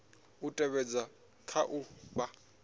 u tevhedzwa kha u fha